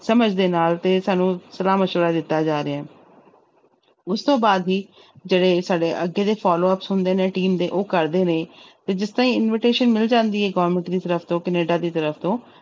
ਸਮਝ ਦੇ ਨਾਲ ਤੇ ਸਾਨੂੰ ਸਲਾਹ ਮਸ਼ਵਰਾ ਦਿੱਤਾ ਜਾ ਰਿਹਾ ਹੈ ਉਸ ਤੋਂ ਬਾਅਦ ਵੀ ਜਿਹੜੇ ਸਾਡੇ ਅੱਗੇ ਦੇ followup ਹੁੰਦੇ ਨੇ team ਦੇ ਉਹ ਕਰਦੇ ਨੇ ਤੇ ਜਿਸ ਤਰ੍ਹਾਂ ਹੀ invitation ਮਿਲ ਜਾਂਦੀ ਹੈ government ਦੀ ਤਰਫ਼ ਤੋਂ ਕੈਨੇਡਾ ਦੀ ਤਰਫ਼ ਤੋਂ,